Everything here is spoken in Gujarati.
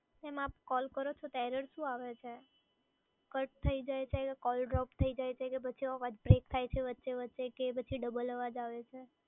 મેડમ આપ કૉલ કરો છો તો error શું આવે છે? કટ થઈ જાય છે કે કૉલ ડ્રોપ થઈ જાય છે કે પછી અવાજ બ્રેક થાય છે વચ્ચે વચ્ચે કે પછી ડબલ અવાજ આવે છે?